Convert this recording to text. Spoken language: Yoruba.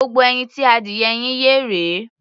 Gbogbo ẹyin tí adìyẹ yín yé rèé.